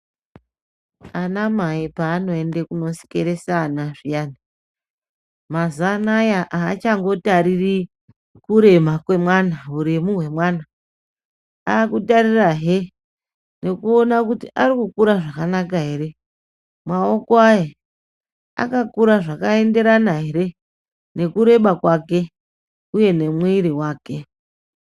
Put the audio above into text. Anamai panoende kunosikeresa ana zviyani mazuva ananya hachangotariri kurema kwemwana huremu hwemwana. Akutarirahe nekuona kuti ari kukura zvakanaka ere, maoko aye akakura zvakaenderana ere nekureba kwake, uye nemwiri vake.